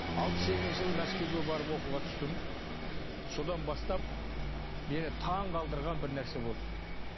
алпыс сегізінші жылы мәскеуге барып оқуға түстім содан бастап мені таңғалдырған бір нәрсе болды